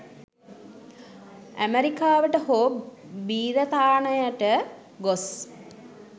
ඇමරිකාවට හෝ බි්‍රතාන්‍යයට ගොස්